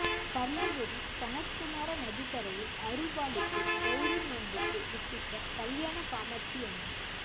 தர்மபுரி சனத்குமார நதிக்கரையில் அருள்பாலித்து கௌரி நோன்புக்கு வித்திட்ட கல்யாண காமாட்சியம்மன்